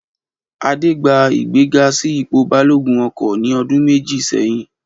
Adé gba ìgbéga sí ipò balógun ọkọ̀ ní ọdún méjì sẹ́yìn